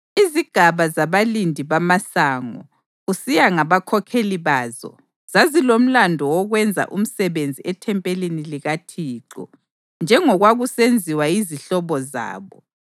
Izigaba zabalindi bamasango, kusiya ngabakhokheli bazo, zazilomlandu wokwenza umsebenzi ethempelini likaThixo, njengokwakusenziwa yizihlobo zabo.